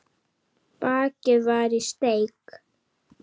Bakið var í steik